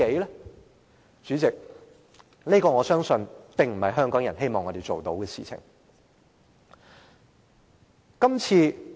代理主席，我相信這不是香港人希望我們做的事情。